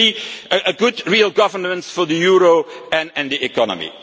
Secondly, a good real governance for the euro and the economy.